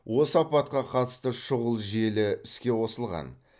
осы апатқа қатысты шұғыл желі іске қосылған